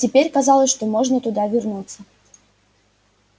теперь казалось что можно туда вернуться